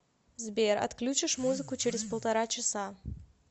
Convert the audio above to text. сбер отключишь музыку через полтора часа